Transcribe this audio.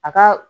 A ka